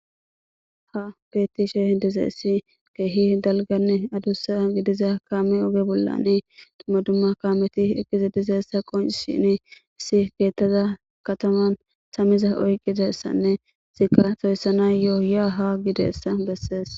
Ha betishe dizayis kehipe daligan adusa gidida kame oge bollan duma duma kameti eqizi dizaysa qonicisesin issi etaza kataman tami oyikin iza oyikizaysnee etika toyisanayo ya ha gizayisa beses